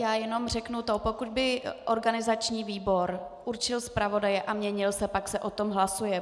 Já jenom řeknu toto: pokud by organizační výbor určil zpravodaje a měnil se, tak se o tom hlasuje.